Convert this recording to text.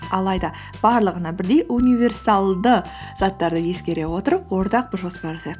алайда барлығына бірдей универсалды заттарды ескере отырып ортақ бір жоспар жасайық